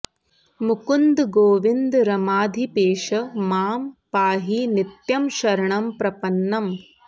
मुकुन्द गोविन्द रमाधिपेश मां पाहि नित्यं शरणं प्रपन्नम्